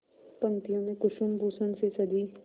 पंक्तियों में कुसुमभूषण से सजी